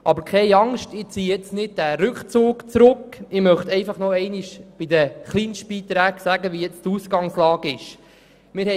Aber keine Angst, ich mache den Rückzug jetzt nicht rückgängig, möchte aber nochmals die Ausgangslage zu den Kleinstbeiträgen darlegen.